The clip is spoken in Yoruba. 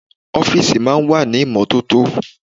Ọ́fíìsì máa ń wà ní ìmọ́tótó.